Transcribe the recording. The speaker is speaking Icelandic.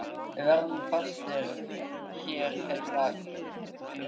Við verðum fastir hér heila fjöru.